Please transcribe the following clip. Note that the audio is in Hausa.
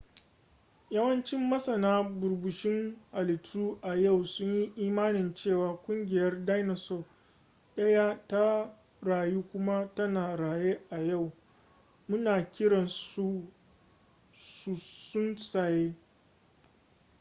yawancin masana burbushin halittu a yau sunyi imanin cewa ƙungiyar dinosaur daya ta rayu kuma tana raye a yau muna kiran su tsuntsaye